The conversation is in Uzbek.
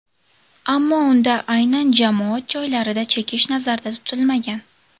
Ammo unda aynan jamoat joylarida chekish nazarda tutilmagan.